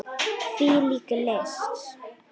Hvílík list!